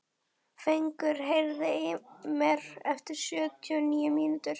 Fengur, heyrðu í mér eftir sjötíu og níu mínútur.